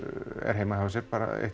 er heima hjá sér